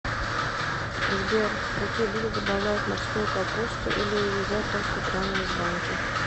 сбер в какие блюда добавляют морскую капусту или ее едят только прямо из банки